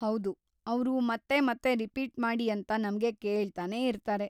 ಹೌದು, ಅವ್ರು ಮತ್ತೆ ಮತ್ತೆ ರಿಪೀಟ್‌ ಮಾಡಿ ಅಂತ ನಮ್ಗೆ ಕೇಳ್ತಾನೇ ಇರ್ತಾರೆ.